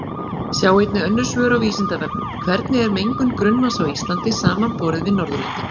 Sjá einnig önnur svör á Vísindavefnum: Hvernig er mengun grunnvatns á Íslandi samanborið við Norðurlöndin?